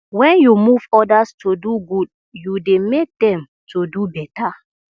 wen yu move odas to do good yu dey mek dem to do beta